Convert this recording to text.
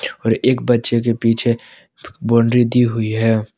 और एक बच्चे के पीछे बाउंड्री दी हुई है।